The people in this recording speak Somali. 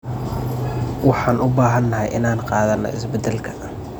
Waxaan u baahanahay inaan qaadanno isbeddelka.